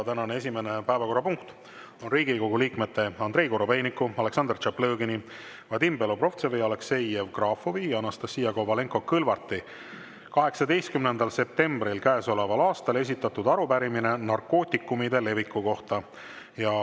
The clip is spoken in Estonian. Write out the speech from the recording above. Tänane esimene päevakorrapunkt on Riigikogu liikmete Andrei Korobeiniku, Aleksandr Tšaplõgini, Vadim Belobrovtsevi, Aleksei Jevgrafovi ja Anastassia Kovalenko-Kõlvarti 18. septembril käesoleval aastal esitatud arupärimine narkootikumide leviku kohta.